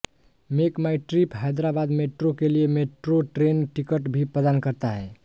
MakeMyTrip Hyderabad metro के लिए metro train ticket भी प्रदान करता है